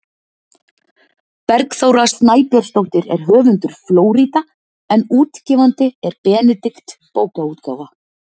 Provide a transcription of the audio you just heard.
Bergþóra Snæbjörnsdóttir er höfundur „Flórída“ en útgefandi er Benedikt bókaútgáfa.